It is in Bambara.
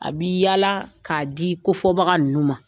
A bi yaala k'a di kofɔ baga ninnu ma.